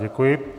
Děkuji.